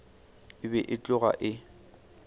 e be e tloga e